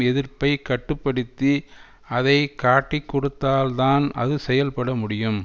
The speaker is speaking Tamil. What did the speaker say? எதிர்ப்பை கட்டு படுத்தி அதை காட்டிக் கொடுத்தால்தான் அது செயல்பட முடியும்